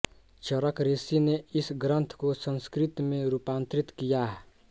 चरक ऋषि ने इस ग्रन्थ को संस्कृत में रूपांतरित किया